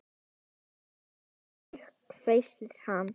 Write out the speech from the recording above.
Farðu sagði ég, hvæsir hann.